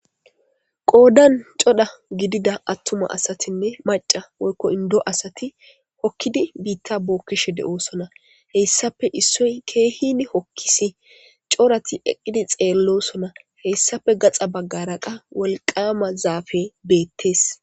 Qoyddan coda gidida atuma asatine macca woykko inddo asati hokidi bitta bokishe de'osona heyssape issoy kehin hokkisi corrati eqqidi xellosona heyssape gaxa baggara qa woliqqama zaffey bettes.